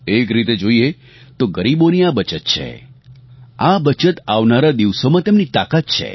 એક રીતે જોઇએ તો ગરીબોની આ બચત છે આ બચત આવનારા દિવસોમાં તેમની તાકાત છે